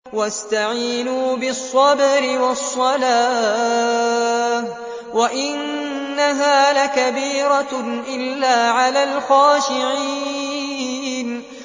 وَاسْتَعِينُوا بِالصَّبْرِ وَالصَّلَاةِ ۚ وَإِنَّهَا لَكَبِيرَةٌ إِلَّا عَلَى الْخَاشِعِينَ